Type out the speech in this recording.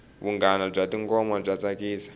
vunanga bya tingoma bya tsakisa